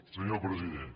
senyor president